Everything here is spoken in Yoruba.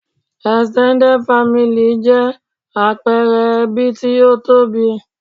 Extended family 'jẹ́ àpẹẹre ẹbí tí ó tóbi